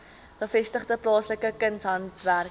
gevestigde plaaslike kunshandwerkers